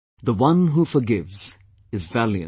The one who forgives is valiant